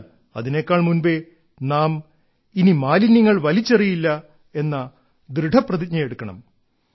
എന്നാൽ അതിനേക്കാൾ മുൻപേ നാം ഇനി മാലിന്യങ്ങൾ വലിച്ചെറിയില്ല എന്ന ദൃഢപ്രതിജ്ഞയെടുക്കണം